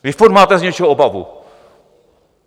Vy furt máte z něčeho obavu.